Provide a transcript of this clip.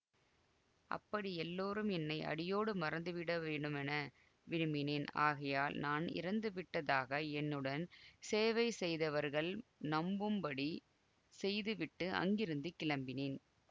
அப்படி எல்லோரும் என்னை அடியோடு மறந்துவிட வேண்டுமென விரும்பினேன் ஆகையால் நான் இறந்துவிட்டதாக என்னுடன் சேவை செய்தவர்கள் நம்பும்படி செய்துவிட்டு அங்கிருந்து கிளம்பினேன்